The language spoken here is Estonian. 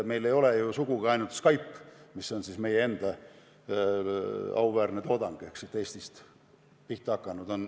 Meil ei ole sugugi ainult Skype, mis on meie enda auväärne toodang ehk siit Eestist pihta hakanud.